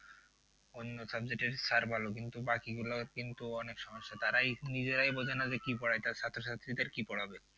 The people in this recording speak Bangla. অন্য subject এর sir ভালো কিন্তু বাকি গুলো কিন্তু অনেক সমস্যা। তারাই নিজেরাই বোঝে না কি পড়ায় তার ছাত্র ছাত্রীদের কি পড়াবে?